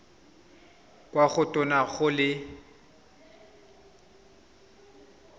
kwa go tona go le